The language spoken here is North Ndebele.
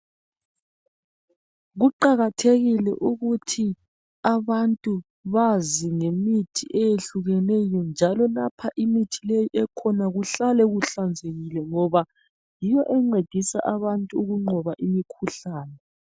Kuqakathekile ukuthi abantu bazi ngemithi eyehlukeneyo njalo lapho imithi leyi ekhona kuhlale kuhlanzekile ngoba yiyo encedisa abantu ukunqoba imikhuhlane.